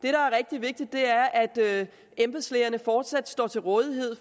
er rigtig vigtigt er at embedslægerne fortsat står til rådighed